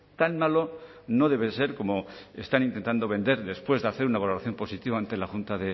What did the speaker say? tan malo no debe ser cómo están intentando vender después de hacer una valoración positiva ante la junta